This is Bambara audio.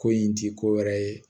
Ko in ti ko wɛrɛ ye